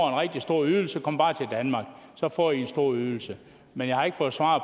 en rigtig stor ydelse kom bare til danmark så får i en stor ydelse men jeg har ikke fået svar